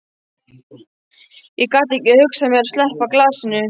Ég gat ekki hugsað mér að sleppa glasinu.